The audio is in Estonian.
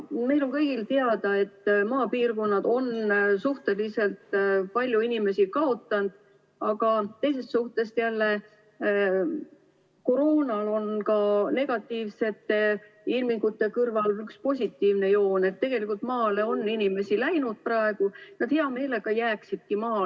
Meile kõigile on teada, et maapiirkonnad on suhteliselt palju inimesi kaotanud, aga teisalt on koroonal negatiivsete ilmingute kõrval ka üks positiivne joon: päris palju inimesi on läinud maale ja nad hea meelega jääksidki maale.